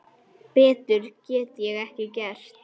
Betur get ég ekki gert.